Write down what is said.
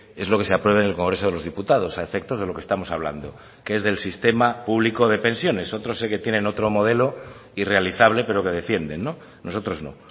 es lo que se apruebe en el congreso de los diputados a efectos de lo que estamos hablando que es del sistema público de pensiones otros sé que tienen otro modelo irrealizable pero que defienden nosotros no